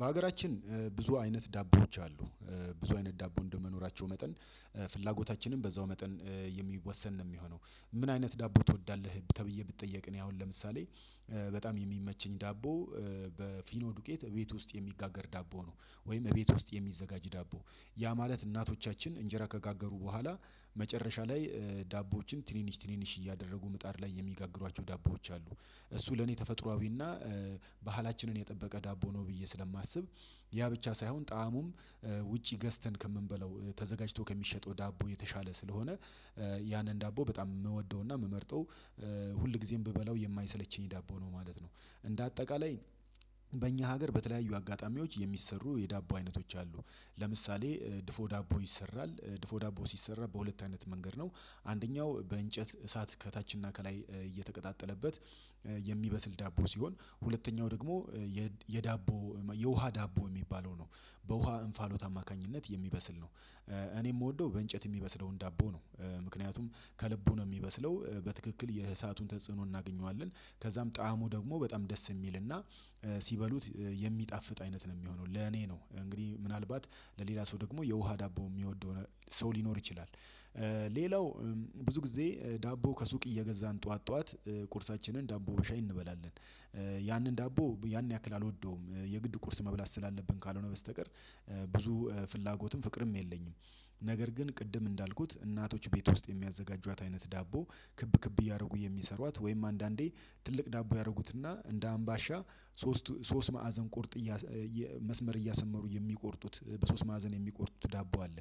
በሀገራችን ብዙ አይነት ዳቦዎች አሉ ብዙ አይነት ዳቦ እንደመኖራቸው መጠን ፍላጎታችንም በዛው መጠን የሚወሰን ነው የሚሆነው። ምን አይነት ዳቦ ትወዳለህ ተብዬ ብጠየቅ እኔ አሁን ለምሳሌ በጣም የሚመቸኝ ዳቦ በፊኖ ዱቄት እቤት ውስጥ የሚጋገር ዳቦ ነው። ወይም እቤት ውስጥ የሚዘጋጅ ዳቦ ያ ማለት እናቶቻችን እንጀራ ከጋገሩ በኋላ መጨረሻ ላይ ዳቦዎችን ትንንሽ ትንንሽ እያደረጉ ምጣር ላይ የሚጋግሯቸው ዳቦዎች አሉ። እሱ ለኔ ተፈጥሮአዊና ባህላችንን የጠበቀ ዳቦ ነው ብዬ ስለማስብ ያ ብቻ ሳይሆን ጣእሙም ውጪ ገዝተን ከምንበለው ተዘጋጅቶ ከሚሸጠው ዳቦ የተሻለ ስለሆነ ያንን ዳቦ በጣም የምወደውና የምመርጠው ሁል ጊዜም ብበላው የማይሰለቸኝ ዳቦ ነው ማለት ነው። እንደ አጠቃላይ በእኛ ሀገር በተለያዩ አጋጣሚዎች የሚሰሩ የዳቦ አይነቶች አሉ። ለምሳሌ ድፎ ዳቦ ይሰራል ድፎ ዳቦ ሲሰራ በሁለት አይነት መንገድ ነው። አንደኛው በእንጨት እሳት ከታችና ከላይ እየተቀጣጠለበት የሚበስል ዳቦ ሲሆን ሁለተኛው ደግሞ የዳቦ የውሃ ዳቦ የሚባለው ነው። በውሃ እንፋሎት አማካኝነት የሚበስል ነው እኔ የምወደው በእንጨት የሚበስለው ዳቦ ነው። ምክንያቱም ከልቡ ነው የሚበስለው በትክክል የእሳቱን ተጽዕኖ እናገኘዋለን ከዛም ጣዕሙ ደግሞ በጣም ደስ የሚልና ሲበሉት የሚጣፍጥ አይነት ነው የሚሆነው ለኔ ነው እንግዲህ ምናልባት ለሌላ ሰው ደግሞ የውሃ ዳቦ የሚወደው ሰው ሊኖር ይችላል። ሌላው ብዙ ጊዜ ዳቦ ከሱቅ እየገዛን ጠዋት ጠዋት ቁርሳችንን ዳቦ ሻይ እንበላለን። ያንን ዳቦ ያን ያክል አልወደውም የግድ ቁርስ መብላት ስላለብን ካልሆነ በስተቀር ብዙ ፍላጎትም ፍቅርም የለኝም። ነገር ግን ቅድም እንዳልኩት እናቶች ቤት ውስጥ የሚያዘጋጇት አይነት ዳቦ ክብ ክብ እያደረጉ የሚሰሯት ወይም አንዳንዴ ትልቅ ዳቦ ያደረጉትና እንደ አምባሻ ሶስት ሶስት ማዕዘን ቆርጥ መስመር እያሰመሩ የሚቆርጡት በሶስት ማዕዘን የሚቆርጡት ዳቦ አለ።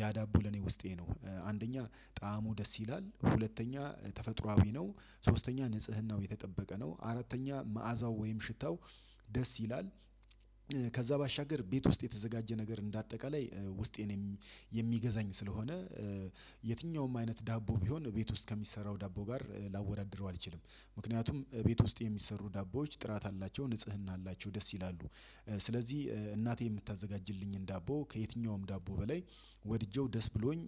ያ ዳቦ ለኔ ውስጤ ነው አንደኛ ጣዕሙ ደስ ይላል ሁለተኛ ተፈጥሮአዊ ነው ሶስተኛ ንጽህናው የተጠበቀ ነው አራተኛ መዓዛው ወይም ሽታው ደስ ይላል። ከዛ ባሻገር ቤት ውስጥ የተዘጋጀ ነገር እንደ አጠቃላይ ውስጤን የሚገዛኝ ስለሆነ የትኛውም አይነት ዳቦ ቢሆን ቤት ውስጥ ከሚሰራው ዳቦ ጋር ላወዳድረው አልችልም ምክንያቱም ቤት ውስጥ የሚሰሩ ዳቦዎች ጥራት አላቸው ንጽህና አላቸው ደስ ይላሉ። ስለዚህ እናቴ የምታዘጋጅልኝን ዳቦ ከየትኛውም ዳቦ በላይ ወድጄው ደስ ብሎኝ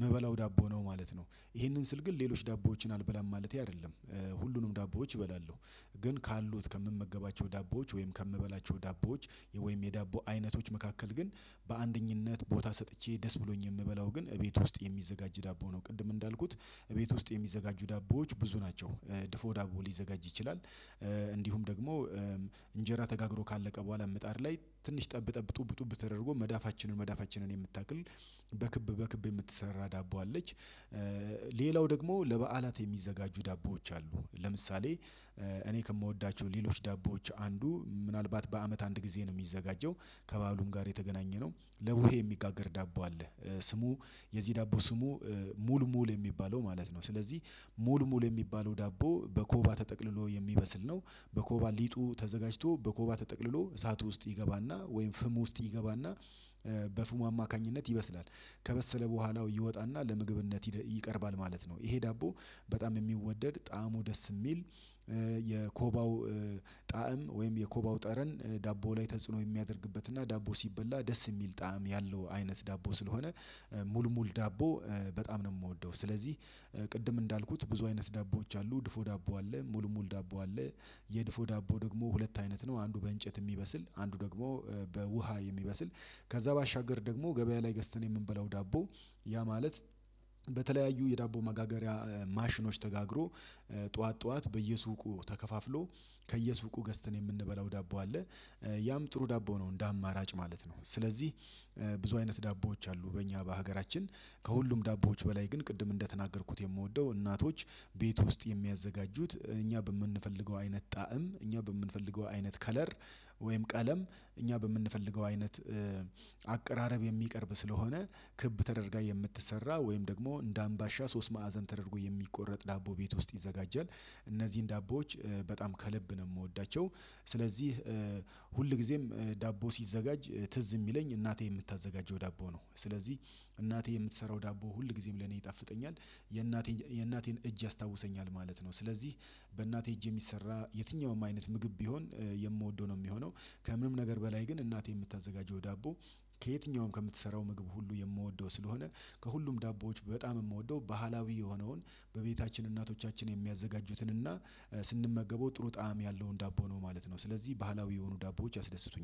ምበላው ዳቦ ነው ማለት ነው። ይሄንን ስል ግን ሌሎች ዳቦዎችን አልበላም ማለቴ አይደለም። ሁሉንም ዳቦዎች እበላለሁ። ግን ካሉት ከምመገባቸው ዳቦዎች ወይም ከምበላቸው ዳቦዎች ወይም የዳቦ አይነቶች መካከል ግን በአንደኝነት ቦታ ሰጥቼ ደስ ብሎኝ የምበላው ግን እቤት ውስጥ የሚዘጋጅ ዳቦ ነው። ቅድም እንዳልኩት ቤት ውስጥ የሚዘጋጁ ዳቦዎች ብዙ ናቸው። ድፎ ዳቦ ሊዘጋጅ ይችላል። እንዲሁም ደግሞ እንጀራ ተጋግሮ ካለቀ በኋላ ምጣል ላይ ትንሽ ጠብ ጠብ ጡብ ጡብ ተደርጎ መዳፋችንን መዳፋችንን የምታክል በክብ በክብ የምትሰራ ዳቦ አለች። ሌላው ደግሞ ለበዓላት የሚዘጋጁ ዳቦዎች አሉ ለምሳሌ እኔ ከምወዳቸው ሌሎች ዳቦዎች አንዱ ምናልባት በአመት አንድ ጊዜ ነው የሚዘጋጀው ከባሉም ጋር የተገናኘነው ለቡሄ የሚጋገር ዳቦ አለ። ስሙ የዚህ ዳቦ ስሙ ሙልሙል የሚባለው ማለት ነው። ስለዚህ ሙልሙል የሚባለው ዳቦ በኮባ ተጠቅልሎ የሚበስል ነው። በኮባ ሊጡ ተዘጋጅቶ በኮባ ተጠቅልሎ እሳቱ ውስጥ ይገባና ወይም ፍሙ ውስጥ ይገባና በፍሙ አማካኝነት ይበስላል። ከበሰለ በኋላው ይወጣና ለምግብነት ይቀርባል ማለት ነው። ይሄ ዳቦ በጣም የሚወደድ ጣዕሙ ደስ የሚል የኮባው ጣዕም ወይም የኮባው ጠረን ዳቦ ላይ ተጽኖ የሚያደርግበት እና ዳቦ ሲበላ ደስ የሚል ጣዕም ያለው አይነት ዳቦ ስለሆነ ሙልሙል ዳቦ በጣም ነው የምወደው ስለዚህ ቅድም እንዳልኩት ብዙ አይነት ዳቦዎች አሉ ድፎ ዳቦ አለ ሙልሙል ዳቦ አለ። የድፎ ዳቦ ደግሞ ሁለት አይነት ነው አንዱ በእንጨት የሚበስል አንዱ ደግሞ በውሃ የሚበስል ከዛ ባሻገር ደግሞ ገበያ ላይ ገዝተን የምንበላው ዳቦ። ያ ማለት በተለያዩ የዳቦ መጋገሪያ ማሽኖች ተጋግሮ ጠዋት ጠዋት በየሱቁ ተከፋፍሎ ከየሱቁ ገዝተን የምንበላው ዳቦ አለ። ያም ጥሩ ዳቦ ነው እንደ አማራጭ ማለት ነው። ስለዚህ ብዙ አይነት ዳቦዎች አሉ በእኛ በሀገራችን ከሁሉም ዳቦዎች በላይ ግን ቅድም እንደተናገርኩት የምወደው እናቶች ቤት ውስጥ የሚያዘጋጁት እኛ በምንፈልገው አይነት ጣዕም እኛ በምንፈልገው አይነት ከለር ወይም ቀለም እኛ በምንፈልገው አይነት አቀራረብ የሚቀርብ ስለሆነ ክብ ተደርጋ የምትሰራ ወይም ደግሞ እንደ አምባሻ ሶስት ማዕዘን ተደርጎ የሚቆረጥ ዳቦ ቤት ውስጥ ይዘጋጃል። እነዚህን ዳቦዎች በጣም ከልብ ነው የምወዳቸው ስለዚህ ሁል ጊዜም ዳቦ ሲዘጋጅ ትዝ የሚለኝ እናቴ የምታዘጋጀው ዳቦ ነው። ስለዚህ እናቴ የምትሰራው ዳቦ ሁል ጊዜም ለኔ ይጣፍጠኛል። የእናቴን እጅ ያስታውሰኛል ማለት ነው። ስለዚህ በእናቴ እጅ የሚሰራ የትኛውም አይነት ምግብ ቢሆን የምወደው ነው የሚሆነው። ከምንም ነገር በላይ ግን እናቴ የምታዘጋጂው ዳቦ ከየትኛውም ከምትሰራው ምግብ ሁሉ የምወደው ስለሆነ ከሁሉም ዳቦዎች በጣም የምወደው ባህላዊ የሆነውን በቤታችን እናቶቻችን የሚያዘጋጁትን እና ስንመገበው ጥሩ ጣዕም ያለውን ዳቦ ነው ማለት ነው ስለዚህ ባህላዊ የሆኑ ዳቦዎች ያስደስቱኛል